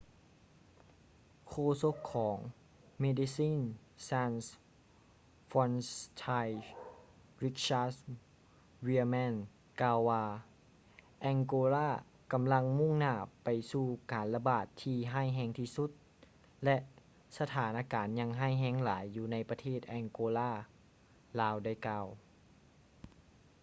ໂຄສົກຂອງ medecines sans frontiere richard veerman ກ່າວວ່າ angola ກຳລັງມຸ້ງໜ້າໄປສູ່ການລະບາດທີ່ຮ້າຍແຮງທີ່ສຸດ ແລະ ສະຖານະການຍັງຮ້າຍແຮງຫຼາຍຢູ່ໃນປະເທດ angola ລາວໄດ້ກ່າວ